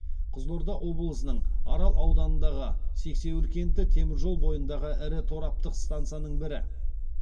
қызылорда облысының арал ауданындағы сексеуіл кенті темір жол бойындағы ірі тораптық стансаның бірі